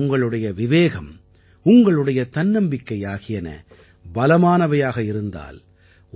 உங்களுடைய விவேகம் உங்களுடைய தன்னம்பிக்கை ஆகியன பலமானவையாக இருந்தால்